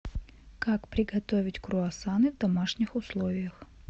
как приготовить круассаны в домашних условиях